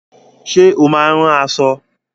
Ṣé ó máa ń ran aṣọ?